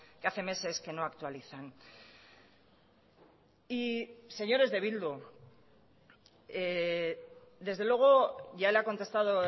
que hace meses que no actualizan y señores de bildu desde luego ya le ha contestado